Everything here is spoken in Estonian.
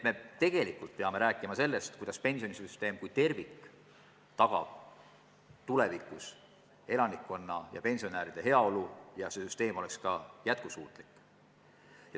Me tegelikult peame rääkima sellest, kuidas pensionisüsteem kui tervik tagaks tulevikus elanikkonna, sh pensionäride heaolu ja et süsteem oleks jätkusuutlik.